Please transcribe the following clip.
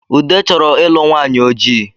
Ude chọrọ ịlụ nwanyị ojii